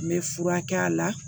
N bɛ furakɛ a la